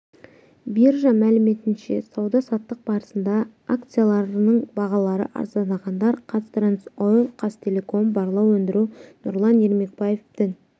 биржа мәліметінше сауда-саттық барысында акцияларының бағалары арзандағандар қазтрансойл қазақтелеком барлау өндіру нұрлан ермекбаев дін